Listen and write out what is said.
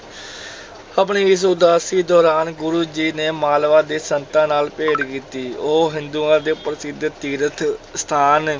ਆਪਣੀ ਇਸ ਉਦਾਸੀ ਦੌਰਾਨ ਗੁਰੂ ਜੀ ਨੇ ਮਾਲਵਾ ਦੇ ਸੰਤਾਂ ਨਾਲ ਭੇਟ ਕੀਤੀ, ਉਹ ਹਿੰਦੂਆਂ ਦੇ ਪ੍ਰਸਿੱਧ ਤੀਰਥ ਸਥਾਨ